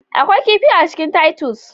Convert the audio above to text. Akwai kifi a cikin titus